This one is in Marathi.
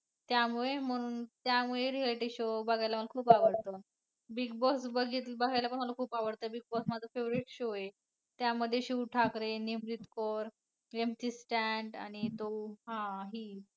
त्यामुळे म्हणून त्यामुळे reality show बघायला मला खूप आवडतं. Big Boss बघायला पण मला खूप आवडतं Big Boss माझा favorite show आहे. त्यामध्ये शिव ठाकरे, निमरीत कौर MC Stan आणि तो हा ही